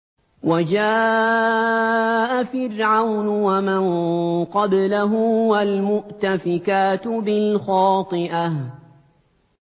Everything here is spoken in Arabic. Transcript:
وَجَاءَ فِرْعَوْنُ وَمَن قَبْلَهُ وَالْمُؤْتَفِكَاتُ بِالْخَاطِئَةِ